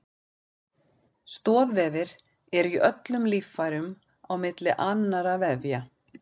Stoðvefir eru í öllum líffærum á milli annarra vefja.